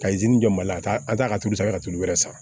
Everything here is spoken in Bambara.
Ka jɔ mali la ka taa an taa ka tulu san ka tulu wɛrɛ san